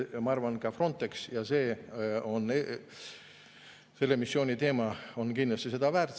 Ma arvan, ka Frontex ja selle missiooni teema on kindlasti seda väärt.